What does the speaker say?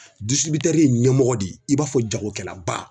ye ɲɛmɔgɔ de ye, i b'a fɔ jagokɛlaba.